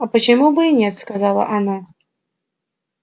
а почему бы и нет оказала она